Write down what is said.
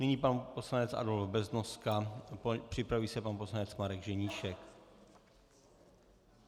Nyní pan poslanec Adolf Beznoska, připraví se pan poslanec Marek Ženíšek.